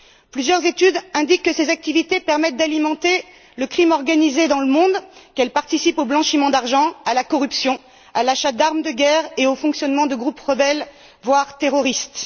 Plusieurs études indiquent que ces activités permettent d'alimenter le crime organisé dans le monde, qu'elles participent au blanchiment d'argent, à la corruption, à l'achat d'armes de guerre et au fonctionnement de groupes rebelles, voire terroristes.